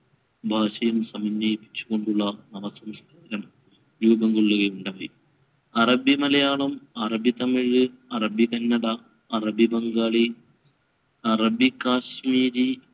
ഭാഷയും സമന്വയിപ്പിച്ചു കൊണ്ടുള്ള രൂപംകൊള്ളുകയുണ്ടായി. അറബിമലയാളം, അറബിതമിഴ്, അറബി കന്നഡ, അറബി ബംഗാളി, അറബി കാശ്മീരി